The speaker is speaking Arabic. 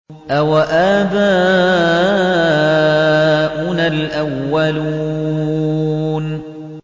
أَوَآبَاؤُنَا الْأَوَّلُونَ